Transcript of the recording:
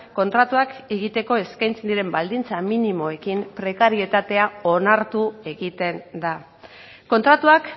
kontratuak egiteko eskaintzen diren baldintza minimoekin prekarietatea onartu egiten da kontratuak